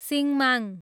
सिङ्माङ